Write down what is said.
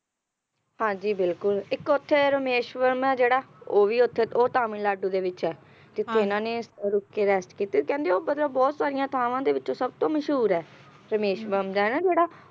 ਹਾਂਜੀ ਬਿਲਕੁਲ ਇੱਕ ਉੱਥੇ ਰਾਮੇਸ਼ਵਰ ਜਿਹੜਾ ਉਹ ਵੀ ਉੱਥੇ ਉਹ ਤਾਮਿਲਨਾਡੂ ਦੇ ਵਿੱਚ ਆ ਹਾਂਜੀ ਜਿੱਥੇ ਇਹਨਾਂ ਨੇ ਰੁਕ ਕੇ Rest ਕੀਤੀ ਕਹਿੰਦੇ ਉਹ ਮਤਲਬ ਬਹੁਤ ਸਾਰੀਆਂ ਥਾਵਾਂ ਦੇ ਵਿੱਚੋਂ ਸਭਤੋਂ ਮਸ਼ਹੂਰ ਹੈ, ਰਾਮੇਸ਼ਵਰ ਦਾ ਹੈ ਨਾ ਜਿਹੜਾ ਹਾਂ